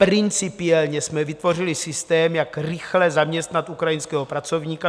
Principiálně jsme vytvořili systém, jak rychle zaměstnat ukrajinského pracovníka.